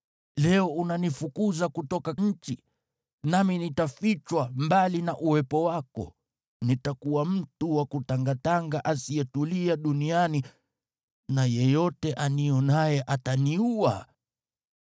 Leo unanifukuza kutoka nchi, nami nitafichwa mbali na uwepo wako. Nitakuwa mtu wa kutangatanga asiyetulia duniani na yeyote anionaye ataniua.”